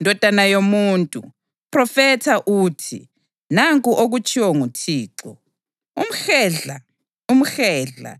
“Ndodana yomuntu, phrofetha uthi, ‘Nanku okutshiwo nguThixo: Umhedla, umhedla,